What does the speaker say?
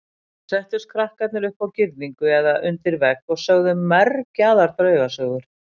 Þá settust krakkarnir upp á girðingu eða undir vegg og sögðu mergjaðar draugasögur.